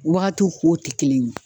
Wagatiw kow te kelen ye